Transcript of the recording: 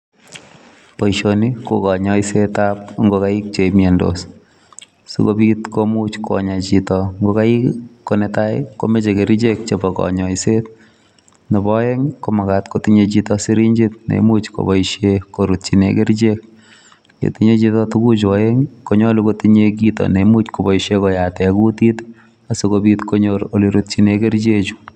Boisioni ko konyoisetab ngokaik che miondos. Sikobit komuch konya chito ngokaik konetai komoche kerichek chebo konyoiset, nebo oeng komagat kotinye chito sirinjit neimuch koboishen korutyi kerichek. Yetinye chito tuguchu oeng konyolu kotinye kito neimuch koboisien koyate kutit asikobit konyor ole rutyinen kericheju.